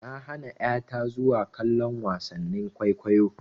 Na hana ƴa ta zuwa kallon wasannin kwaikwayo.